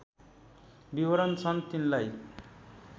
विवरण छन् तिनलाई